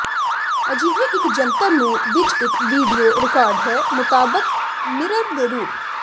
ਅਜਿਹੇ ਇੱਕ ਜੰਤਰ ਨੂੰ ਵਿੱਚ ਇੱਕ ਵੀਡੀਓ ਰਿਕਾਰਡਰ ਹੈ ਮੁਤਾਬਕ ਮਿਰਰ ਦੇ ਰੂਪ